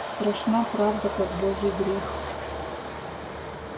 страшна правда как божий грех